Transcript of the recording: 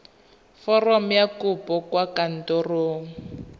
foromo ya kopo kwa kantorong